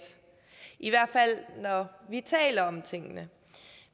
i hvert fald når vi taler om tingene